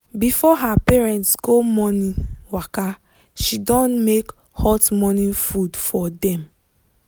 before her parents go morning waka she don make hot morning food for dem.